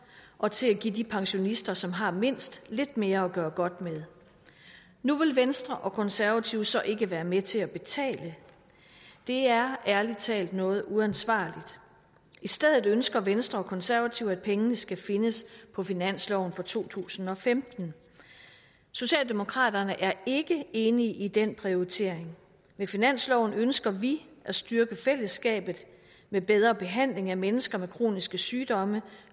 og til at give de pensionister som har mindst lidt mere at gøre godt med nu vil venstre og konservative så ikke være med til at betale det er ærlig talt noget uansvarligt i stedet ønsker venstre og konservative at pengene skal findes på finansloven for to tusind og femten socialdemokraterne er ikke enige i den prioritering med finansloven ønsker vi at styrke fællesskabet med bedre behandling af mennesker med kroniske sygdomme